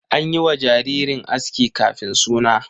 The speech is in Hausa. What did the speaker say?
An yi wa jaririn aski kafin suna?